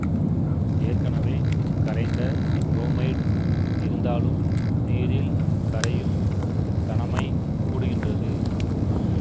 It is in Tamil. ஏற்கனவே கரைந்த புரோமைடு இருந்தாலும் நீரில் கரையும் தனமை கூடுகின்றது